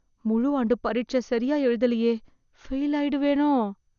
முழு ஆண்டு பரிட்சை சரியா எழுதலயே... ஃபெயிலாயிடுவேனோ...